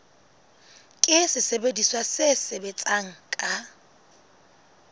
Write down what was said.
ke sesebediswa se sebetsang ka